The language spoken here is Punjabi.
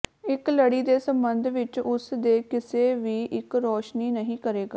ਇੱਕ ਲੜੀ ਦੇ ਸੰਬੰਧ ਵਿਚ ਉਸ ਦੇ ਕਿਸੇ ਵੀ ਇੱਕ ਰੋਸ਼ਨੀ ਨਹੀ ਕਰੇਗਾ